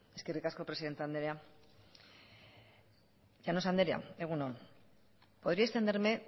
eskerrik asko presidente andrea llanos andrea egun on podría extenderme